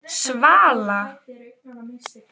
Svala